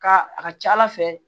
Ka a ka ca ala fɛ